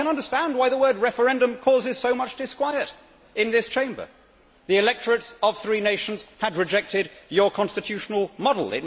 I can understand why the word referendum' causes so much disquiet in this Chamber the electorates of three nations had rejected your constitutional model.